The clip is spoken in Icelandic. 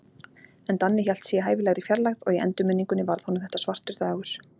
En Danni hélt sig í hæfilegri fjarlægð, og í endurminningunni varð honum þetta svartur dagur.